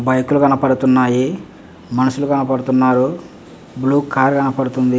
Bike లు కనబడుతుంన్నాయే మనుషులు కనపడుతున్నారు బ్లూ కార్ లు కనపడుతుంది.